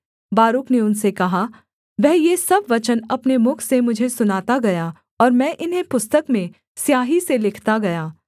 बारूक ने उनसे कहा वह ये सब वचन अपने मुख से मुझे सुनाता गया ओर मैं इन्हें पुस्तक में स्याही से लिखता गया